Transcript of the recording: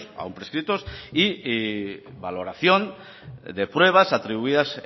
aun prescritos y valoración de pruebas atribuidas